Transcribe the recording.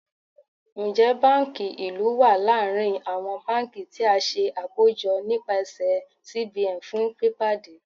Njẹ banki ilu wa larin awọn banki ti a ṣe akojọ nipasẹ CBN fun pipade?